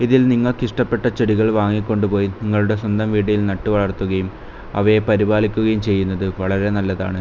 ഇതിൽ നിങ്ങൾക്ക് ഇഷ്ടപ്പെട്ട ചെടികൾ വാങ്ങിക്കൊണ്ടുപോയി നിങ്ങളുടെ സ്വന്തം വീട്ടിൽ നട്ടുവളർത്തുകയും അവയെ പരിപാലിക്കുകയും ചെയ്യുന്നത് വളരെ നല്ലതാണ്.